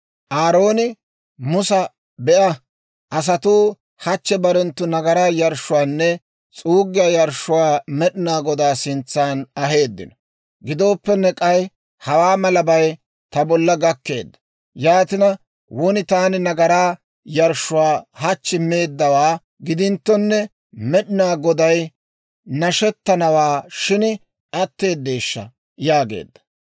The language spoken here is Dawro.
Aarooni Musa, «Be'a; asatuu hachchi barenttu nagaraa yarshshuwaanne s'uuggiyaa yarshshuwaa Med'inaa Godaa sintsa aheeddino; gidooppenne k'ay hawaa malabay ta bolla gakkeedda. Yaatina won taani nagaraa yarshshuwaa hachchi meeddawaa gidinttonne, Med'inaa Goday nashettanawaa shin atteedeeshsha?» yaageedda.